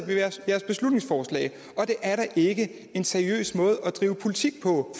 jeres beslutningsforslag og det er da ikke en seriøs måde at drive politik på